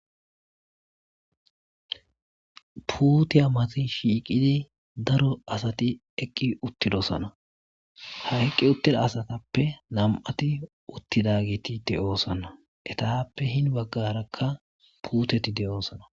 puuteya mati shiiqidi daro asati eqqi uttidosana hayqqi uttida asatappe nam7ati uttidagetide oosanna etappe hin baggarakka puuteti de oosana